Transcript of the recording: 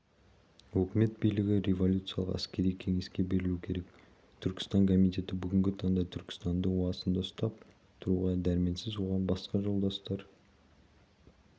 өкімет билігі революциялық әскери кеңеске берілуі керек түркістан комитеті бүгінгі таңда түркістанды уысында ұстап тұруға дәрменсіз оған басқа жолдастар